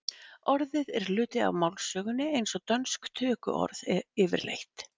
Orðið er hluti af málsögunni eins og dönsk tökuorð yfirleitt.